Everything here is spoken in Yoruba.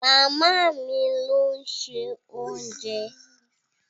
Màmá mi ló ń se oúnjẹ.